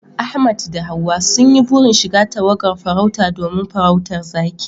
Ahmad da Hawwa sun yi burin shiga tawagar farauta domin farautar zaki